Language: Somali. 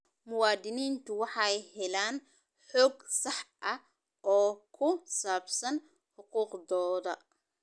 Muwaadiniintu waxay helaan xog sax ah oo ku saabsan xuquuqdooda.